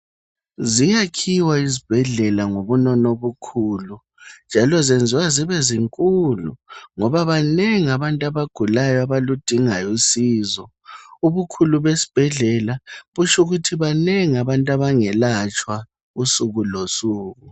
Ziyakhiwa izibhedlela ngobunono obukhulu, njalo zenziwa zibezinkulu ngoba banengi abantu, abagulayo, abaludingayo usizo. Ubukhulu besibhedlela, butsho ukuthi banengi abantu abangelatshwa, usuku losuku.